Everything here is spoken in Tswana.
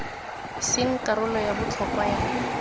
seng karolo ya botlhokwa ya